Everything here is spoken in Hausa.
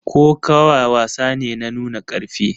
Kokawa wasa ne na nuna karfi